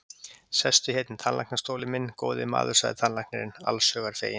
Sestu hérna í tannlæknastólinn minn, góði maður, sagði tannlæknirinn, alls hugar feginn.